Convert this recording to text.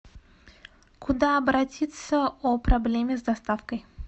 куда обратиться о проблеме с доставкой